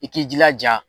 I k'i jilaja